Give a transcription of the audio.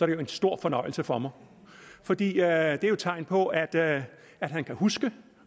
det en stor fornøjelse for mig for det er jo tegn på at at han kan huske